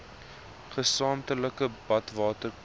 gesamentlike badwater kos